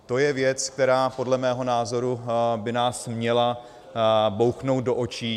To je věc, která podle mého názoru by nás měla bouchnout do očí.